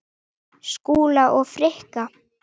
Skúla og Frikka?